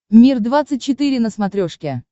мир двадцать четыре на смотрешке